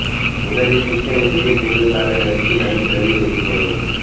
முதலில் சிக்கனை சிறிய துண்டுகளாக நறுக்கி நன்கு கழுவி வைத்து கொள்ளவும்